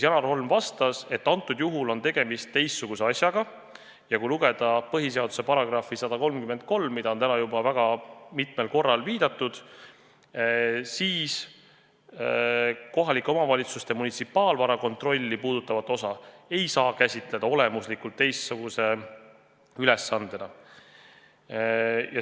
Janar Holm vastas, et antud juhul on tegemist teistsuguse asjaga ja kui lugeda põhiseaduse § 133, millele on täna juba väga mitmel korral viidatud, siis näeme, et kohalike omavalitsuste munitsipaalvara kontrolli puudutavat osa ei saa käsitada olemuslikult teistsuguse ülesandena.